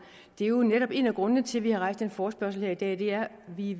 det er jo netop en af grundene til at vi har rejst den forespørgselsdebat her i